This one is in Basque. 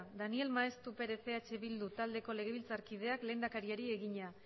daniel maeztu perez eh bildu taldeko legebiltzarkideak lehendakariari egina